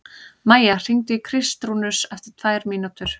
Maía, hringdu í Kristrúnus eftir tvær mínútur.